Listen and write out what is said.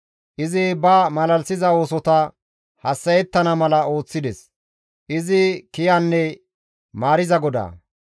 Izi ba malalisiza oosota hassa7ettana mala ooththides. Izi kiyanne maariza GODAA.